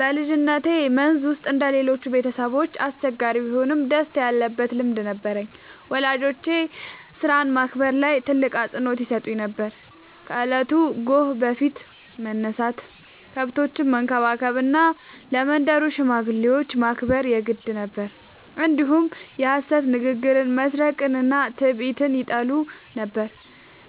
በልጅነቴ መንዝ ውስጥ እንደ ሌሎቹ ቤተሰቦች አስቸጋሪ ቢሆንም ደስታ ያለበት ልምድ ነበረኝ። ወላጆቼ ሥራን ማክበር ላይ ትልቅ አፅንዖት ይሰጡ ነበር፤ ከእለቱ ጎህ በፊት መነሳት፣ ከብቶችን መንከባከብ እና ለመንደሩ ሽማግሌዎች ማክበር የግድ ነበር። እንዲሁም የሐሰት ንግግርን፣ መስረቅንና ትዕቢትን ይጠሉ ነበር።